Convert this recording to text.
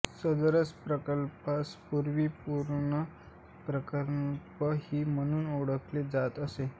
सदर प्रकल्पास पुर्वी पूर्णा प्रकल्प ही म्हणून ओळखले जात असे